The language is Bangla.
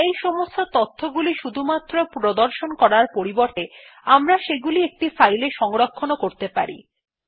স্ক্রিন এ এই সমস্ত তথ্যগুলি শুধুমাত্র প্রদর্শন করার পরিবর্তে আমরা সেগুলি একটি ফাইলে সংরক্ষণ করতে পারি